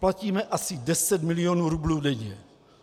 Platíme asi 10 milionů rublů denně.